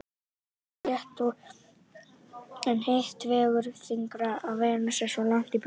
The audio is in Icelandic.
Það er auðvitað rétt en hitt vegur þyngra að Venus er svo langt í burtu.